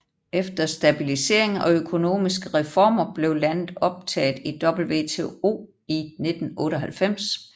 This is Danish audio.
Efter stabilisering og økonomiske reformer blev landet optaget i WTO i 1998